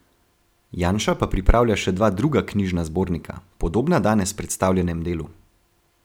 Janša pa pripravlja še dva druga knjižna zbornika, podobna danes predstavljenem delu.